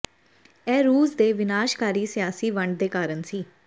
ਇਹ ਰੂਸ ਦੇ ਵਿਨਾਸ਼ਕਾਰੀ ਸਿਆਸੀ ਵੰਡ ਦੇ ਕਾਰਨ ਸੀ